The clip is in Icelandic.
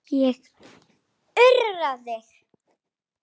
Ég urra.